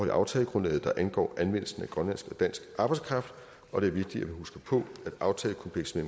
i aftalegrundlaget der angår anvendelsen af grønlandsk og dansk arbejdskraft og det er vigtigt at huske på at aftalekomplekset